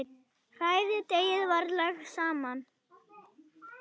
Hrærið deigið varlega saman.